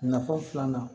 Nafa filanan